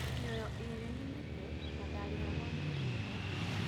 Mioyo ĩrĩ nĩmĩtĩ na ndarihaguo nĩundo woguo